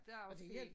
Det er også fint